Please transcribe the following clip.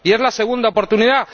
Y es la segunda oportunidad.